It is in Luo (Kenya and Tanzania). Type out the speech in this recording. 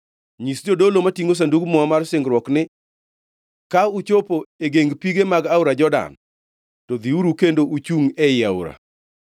Nyis jodolo matingʼo Sandug Muma mar singruok ni, ‘Ka uchopo e geng pige mag aora Jordan, to dhiuru kendo uchungʼ ei aora.’ ”